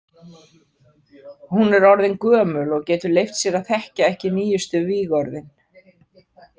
Hún er orðin gömul og getur leyft sér að þekkja ekki nýjustu vígorðin.